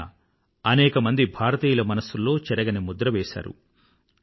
ఆయన అనేక భారతీయుల మనసుల్లో చెరగని ముద్రని వేశారు